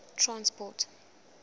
transport